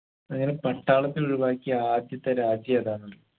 അങ്ങനെ പട്ടാളത്തിന ഒഴിവാക്കിയ ആദ്യത്തെ രാജ്യം ഏതാന്നറിയോ